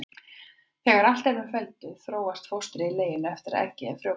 Þegar allt er með felldu þróast fóstrið í leginu eftir að eggið er frjóvgað.